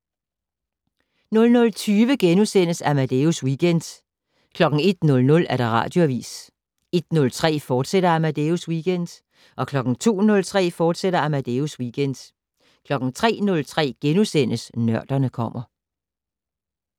00:20: Amadeus Weekend * 01:00: Radioavis 01:03: Amadeus Weekend, fortsat 02:03: Amadeus Weekend, fortsat 03:03: Nørderne kommer *